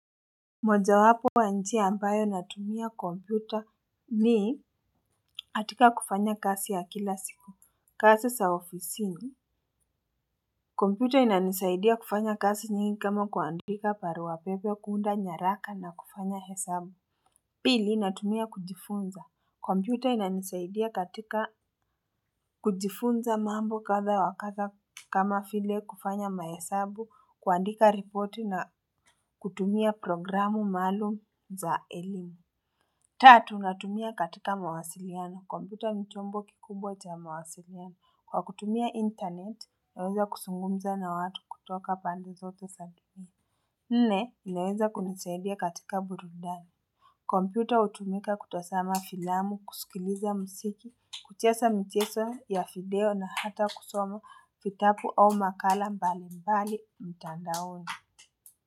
Moja wapo ya njia ambayo natumia kompyuta ni katika kufanya kazi ya kila siku. Kazi za ofisini kompyuta inanisaidia kufanya kazi nyingi kama kuandika barua pepe kuunda nyaraka na kufanya hesabu. Pili natumia kujifunza kompyuta inanisaidia katika kujifunza mambo katha wakatha kama vile kufanya mahesabu kuandika report na kutumia programu maalum za elimu. Tatu, natumia katika mawasiliano. Kompyuta ni chombo kikubwa cha mawasiliano. Kwa kutumia internet, naweza kuzungumza na watu kutoka pande zote za dunia nne, inaeza kunisaidia katika burudani. Kompyuta hutumika kutazama filamu, kusikiliza muziki, kucheza michezo ya video na hata kusoma vitabu au makala mbali mbali mitandaoni.